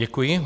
Děkuji.